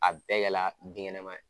A bɛɛ yaala binkɛnɛma ye